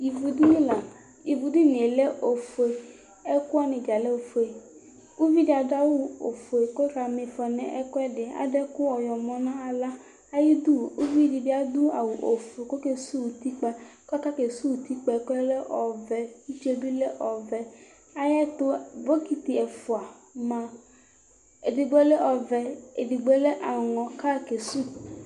Ividini, ividinie lɛ ofue, ɛkʋwani dza lɛ ofue Ʋvidi adʋ awʋ ofue, kʋ ɔkama ifɔ nʋ ɛkʋɛdi, adʋ ɛkʋ ɔyɔmɔ nʋ aɣla Ayidʋ ʋvidi bi adʋ awʋ ofue kʋ okesʋwʋ utikpa kʋ atɔ kesʋwʋ utikpa yɛ lɛ ɔvɛ Utie bi lɛ ɔvɛ ayʋ ɛtʋ bokiti ɛfʋa ma edigbo lɛ ɔvɛ, edigbo lɛ aŋɔ kʋ ayɔ kesʋ